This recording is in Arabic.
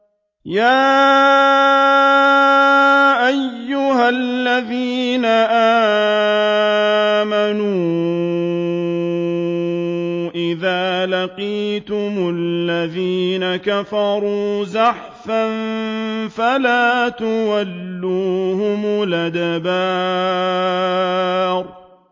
يَا أَيُّهَا الَّذِينَ آمَنُوا إِذَا لَقِيتُمُ الَّذِينَ كَفَرُوا زَحْفًا فَلَا تُوَلُّوهُمُ الْأَدْبَارَ